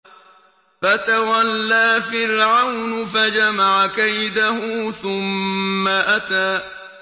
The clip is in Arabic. فَتَوَلَّىٰ فِرْعَوْنُ فَجَمَعَ كَيْدَهُ ثُمَّ أَتَىٰ